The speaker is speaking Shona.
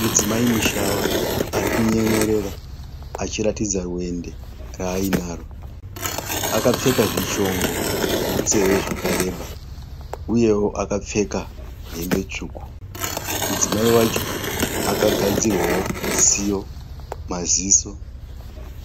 Mudzimai mushava ari kunyemwerera achiratidza vende raarinaro. Akapfeka zvishongo zvemunzeve zvakareba uyewo akapfeka hembe tsvuku. Mudzimai wacho akagadzirwawo tsiyo, maziso